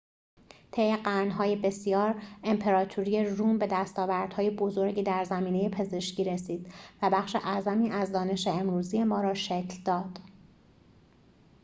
طی قرن‌های بسیار امپراتوری روم به دستاوردهای بزرگی در زمینه پزشکی رسید و بخش اعظمی از دانش امروزی ما را شکل داد